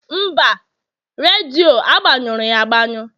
mba, redio agbanyụrụ agbanụ